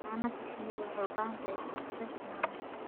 Xannaanada shinnidu waxay u baahan tahay iskudubarid maamul.